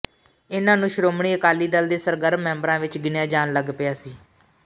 ਇਨ੍ਹਾਂ ਨੂੰ ਸ਼੍ਰੋਮਣੀ ਅਕਾਲੀ ਦਲ ਦੇ ਸਰਗਰਮ ਮੈਂਬਰਾਂ ਵਿੱਚ ਗਿਣਿਆ ਜਾਣ ਲੱਗ ਪਿਆ ਸੀ